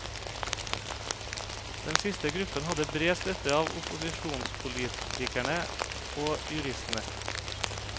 Den siste gruppen hadde bred støtte av opposisjonspolitikerene og juristene.